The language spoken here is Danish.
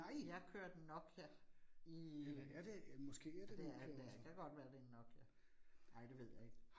Jeg kørte Nokia i. Ja, det er det da, det kan godt være, det en Nokia. Nej, det ved jeg ikke